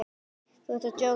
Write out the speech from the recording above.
Þú ert að djóka, ókei?